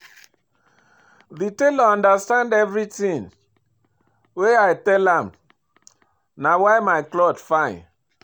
The tailor understand everything wey I tell am na why my cloth fine